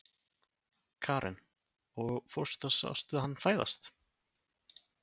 Karen: Og fórstu og sástu hann fæðast?